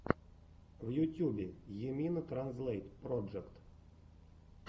в ютьюбе йимина транзлэйт проджект